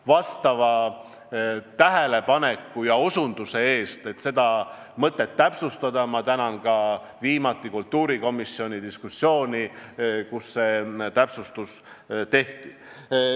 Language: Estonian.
Vastava tähelepaneku ja osutuse eest, et seda mõtet on vaja täpsustada, ma tänan ka viimast kultuurikomisjoni diskussiooni, kus see täpsustus tehti.